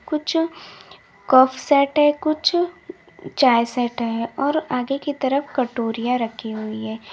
कुछ cup set है कुछ चाय सेट है और आगे की तरफ कटोरियाँ रखी हुई हैं।